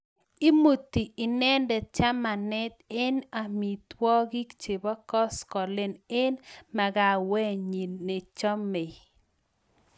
Imuti inendet chamanet eng amitwokik chebo kosgoleny eng makawenyi nechomei